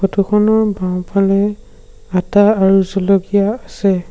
Photo খনৰ বাওঁফালে আটা আৰু জলকীয়া আছে।